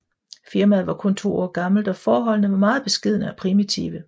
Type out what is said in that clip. Firmaet var kun to år gammelt og forholdene var meget beskedne og primitive